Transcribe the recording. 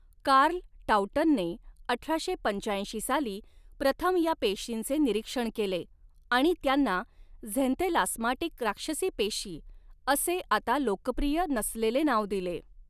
Carl टॉउटनने अठराशे पंचाऐंशी साली प्रथम या पेशींचे निरीक्षण केले आणि त्यांना 'झेंथेलास्माटिक राक्षसी पेशी' असे आता लोकप्रिय नसलेले नाव दिले.